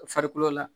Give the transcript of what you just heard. Farikolo la